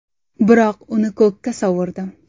Biroq uni ko‘kka sovurdim.